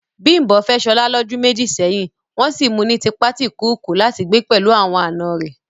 Bimbo fẹ́ Shola lọ́dún méjì sẹ́yìn, wọ́n sì mu ní tipátìkúùkù láti gbé pẹ̀lú àwọn àna rẹ̀